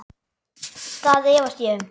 Það efast ég um.